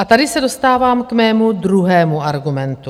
A tady se dostávám k mému druhému argumentu.